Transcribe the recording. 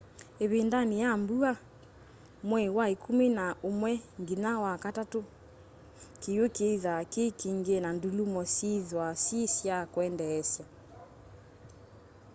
ivindani ya mbua mwei wa ikumi na umwe nginya wakatatu kiwu kiithwa ki kingi na ndulumo syiithwa syi sya kwendeesya